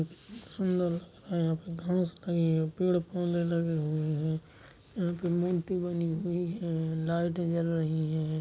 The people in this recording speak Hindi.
सुंदर है यहाँ पे घास लगी है पेड़ पौधे लगे हुए हैं एक मूर्ति बनी हुई है लाइटें जल रही हैं।